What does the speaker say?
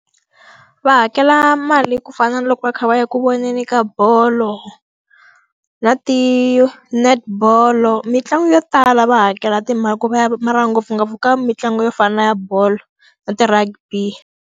Va hakela mali ku fana na loko va kha va ya ku voneni ka bolo, na ti-netball-o. Mitlangu yo tala va hakela timali ku va ya mara ngopfungopfu ka mitlangu yo fana na ya bolo, na ti-rugby.